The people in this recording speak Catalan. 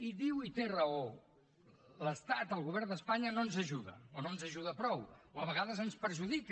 i diu i té raó l’estat el govern d’espanya no ens ajuda o no ens ajuda prou o a vegades ens perjudica